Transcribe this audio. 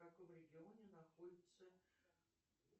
в каком регионе находится